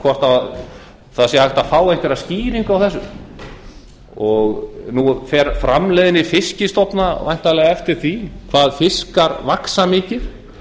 hvort það sé hægt að fá einhverja skýringu á þessu nú fer framleiðni fiskstofna væntanlega eftir því hvað fiskar vaxa mikið